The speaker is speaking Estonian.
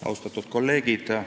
Austatud kolleegid!